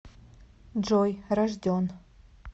джой рожден